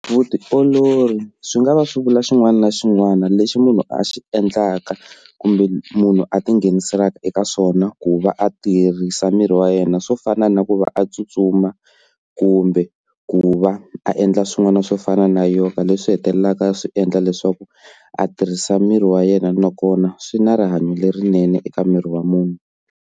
Vutiolori swi nga va swi vula xin'wana na xin'wana lexi munhu a xi endlaka kumbe munhu a tinghenisaka eka swona ku va a tiyerisa miri wa yena, swo fana na ku va a tsutsuma kumbe ku va a endla swin'wana swo fana na yoga leswi swi hetelelaka swi endla leswaku a tirhisa miri wa yena nakona swi na rihanyo lerinene eka miri wa munhu.